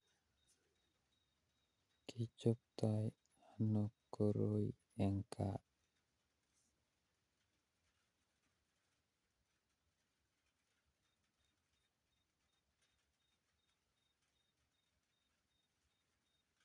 Kichoptai anoo koroii eng kaa